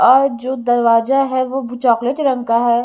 और जो दरवाजा है वो चॉकलेटी रंग का है।